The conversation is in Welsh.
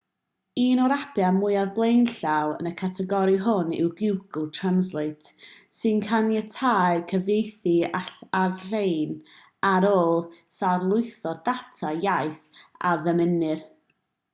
un o'r apiau mwyaf blaenllaw yn y categori hwn yw google translate sy'n caniatáu cyfieithu all-lein ar ôl lawrlwytho'r data iaith a ddymunir